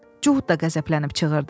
Cuhud da qəzəblənib çığırdı.